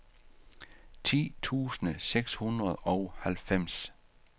ti tusind seks hundrede og halvfems